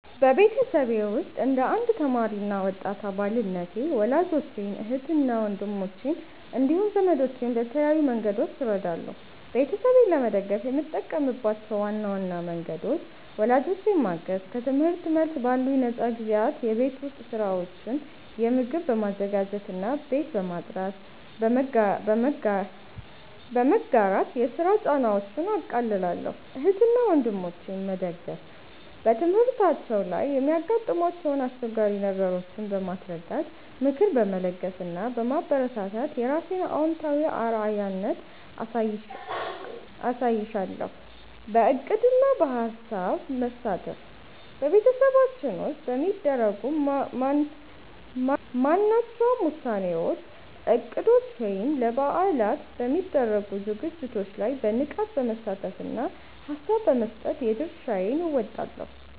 በቤተሰቤ ውስጥ እንደ አንድ ተማሪ እና ወጣት አባልነቴ ወላጆቼን፣ እህትና ወንድሞቼን እንዲሁም ዘመዶቼን በተለያዩ መንገዶች እረዳለሁ። ቤተሰቤን ለመደገፍ የምጠቀምባቸው ዋና ዋና መንገዶች፦ ወላጆቼን ማገዝ፦ ከትምህርት መልስ ባሉኝ ነፃ ጊዜያት የቤት ውስጥ ሥራዎችን (ምግብ በማዘጋጀትና ቤት በማጽዳት) በመጋራት የሥራ ጫናቸውን አቃልላለሁ። እህትና ወንድሞቼን መደገፍ፦ በትምህርታቸው ላይ የሚያጋጥሟቸውን አስቸጋሪ ነገሮች በማስረዳት፣ ምክር በመለገስ እና በማበረታታት የራሴን አዎንታዊ አርአያነት አሳይሻለሁ። በዕቅድና በሐሳብ መሳተፍ፦ በቤተሰባችን ውስጥ በሚደረጉ ማናቸውም ውሳኔዎች፣ እቅዶች ወይም ለበዓላት በሚደረጉ ዝግጅቶች ላይ በንቃት በመሳተፍና ሐሳብ በመስጠት የድርሻዬን እወጣለሁ።